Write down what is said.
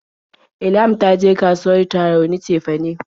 Ilham ta je kasuwar Tarauni cefane.